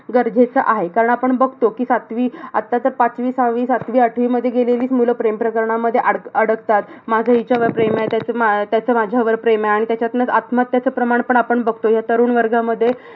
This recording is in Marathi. गरजेचं आहे. कारण आपण बघतो कि सातवी आताच्या पाचवी, सहावी, सातवी, आठवीमध्ये गेलेली मुलं प्रेम प्रकारामध्ये अडा अडकतात. माझं हिच्यावर प्रेम आहे. त्याच त्याचं माझ्यावर प्रेम आहे. आणि त्याच्यातनं आत्महत्याचं प्रमाण आपण बघतोय, ह्या तरुण वर्गामध्ये